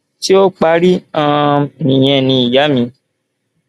ṣé ó parí um nìyẹn ni ìyá mi